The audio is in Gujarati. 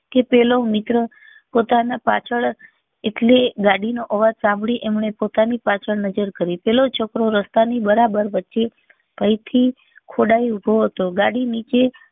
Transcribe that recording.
કે પેલો મિત્ર પોતાના પાછળ એટલે ગાડી નો અવાજ સાંભળી એમને પોતાની પાછળ નજર કરી પેલો છોકરો રસ્તા ની બરાબર વચ્ચે ભય ખોડાઈ ઉભો હતો ગાડી નીચે